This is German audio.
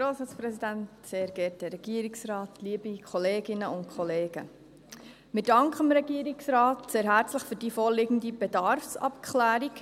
Wir danken dem Regierungsrat sehr herzlich für die vorliegende Bedarfsabklärung.